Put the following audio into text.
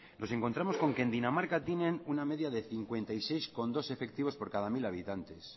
nos encontramos con que en dinamarca tienen una media de cincuenta y seis coma dos efectivos por cada mil habitantes